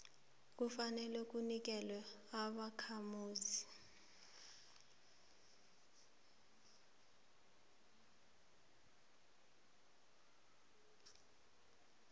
ufaneleka kunikelwa ubakhamuzi